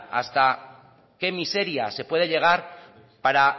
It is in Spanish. hasta qué miseria se puede llegar para